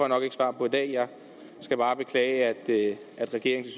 nok ikke svar på i dag jeg skal bare beklage at regeringen